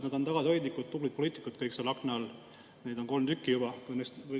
Nad on tagasihoidlikud, tublid poliitikud kõik seal akna all, neid on juba kolm.